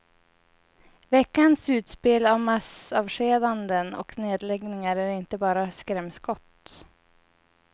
Veckans utspel om massavskedanden och nedläggningar är inte bara skrämskott.